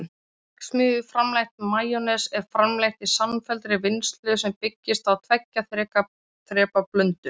Verksmiðjuframleitt majónes er framleitt í samfelldri vinnslu sem byggist á tveggja þrepa blöndun.